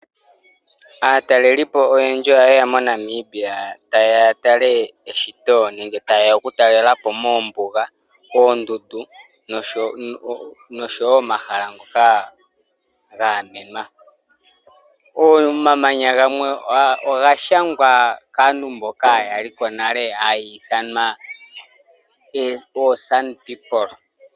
Aatalelipo oyendji oha yeya moNamibia oku tala eshito moombuga, moondundu noshowo omahala ngoka ga gamenwa. Omamanya gamwe oga shangwa kaantu mboka yaliko nale ha ithanwa aakwangala.